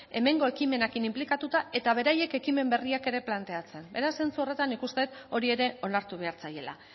hemengo ekimenekin inplikatuta eta beraiek ekimen berriak ere planteatzen beraz zentsu horretan nik uste dut hori ere onartu behar zaiela